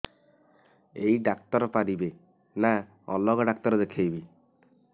ଏଇ ଡ଼ାକ୍ତର ପାରିବେ ନା ଅଲଗା ଡ଼ାକ୍ତର ଦେଖେଇବି